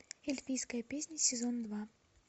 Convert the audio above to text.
эльфийская песня сезон два